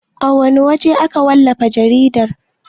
A wana waje ake wallafa jarida?